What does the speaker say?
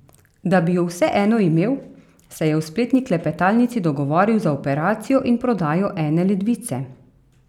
Da bi ju vseeno imel, se je v spletni klepetalnici dogovoril za operacijo in prodajo ene ledvice.